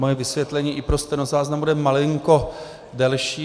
Moje vysvětlení i pro stenozáznam bude malinko delší.